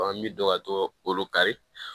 an bi dɔgɔ kolo kari